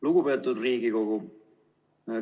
Lugupeetud Riigikogu!